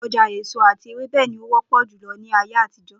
O̩jà èso àti ewébè̩ ni ó wó̩pò̩ jùlo̩ ní ayé àtijó̩